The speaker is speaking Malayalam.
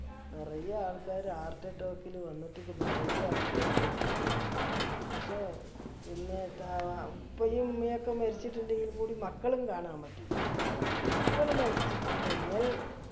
നിറയെ ആൾക്കാര് heart attack ല് വന്നിട്ട് നിറയെ ആൾക്കാര് മരിച്ച് പോയി പക്ഷെ പിന്നെ ത വ ഉപ്പയും ഉമ്മയു ഒക്കെ മരിച്ചിട്ട് ഇണ്ടെങ്കില് കൂടി മക്കളും കാണാൻ പറ്റൂല മക്കളും മരിച്ചിട്ടുണ്ടെങ്കിൽ